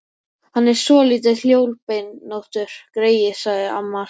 Hann er svolítið hjólbeinóttur, greyið, sagði amma alltaf.